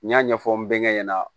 N y'a ɲɛfɔ n bɛ ɲɛ ɲɛna